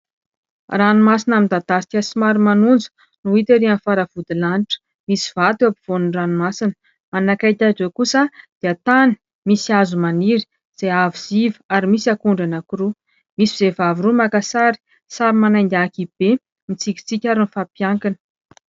Ranomasina midadasika somary manonja no hita ery amin'ny fara-vodilanitra. Misy vato eo afovoanin'ny ranomasina. Manakaiky azy eo kosa dia tany misy hazo maniry izay avo sy iva ary misy akondro anankiroa. Misy vehivavy roa maka sary, samy manainga ankihibe, mitsikitsiky ary mifampiankina.